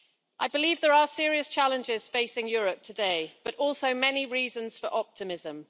I believe there are serious challenges facing Europe today, but also many reasons for optimism.